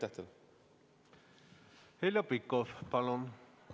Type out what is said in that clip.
Heljo Pikhof, palun!